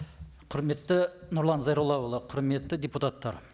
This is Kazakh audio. құрметті нұрлан зайроллаұлы құрметті депутаттар